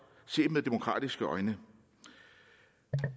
set med demokratiske øjne